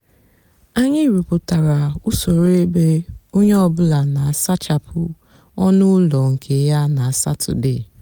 ányị rụpụtárá usoro ébé ónyé ọ bụlà nà-àsachapụ ónú úló nkè yá nà satọde.